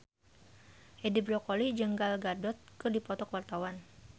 Edi Brokoli jeung Gal Gadot keur dipoto ku wartawan